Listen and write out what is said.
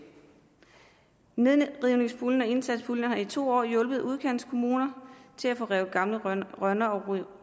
nedrivningspuljen og indsatspuljen har i to år hjulpet udkantskommuner til at få revet gamle rønner og